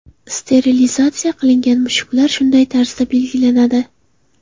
Sterilizatsiya qilingan mushuklar shunday tarzda belgilanadi.